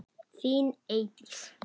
Þín Eydís.